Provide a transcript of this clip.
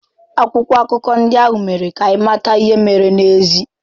Akwụkwọ akụkọ ndị ahụ mere ka anyị mata ihe mere n'ezie.